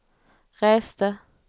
reste